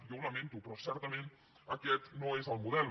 jo ho lamento però certament aquest no és el model